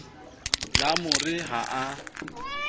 la mo re he a